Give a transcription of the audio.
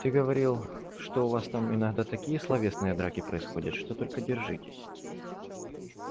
ты говорил что у вас там иногда такие словесные драки происходят что только держитесь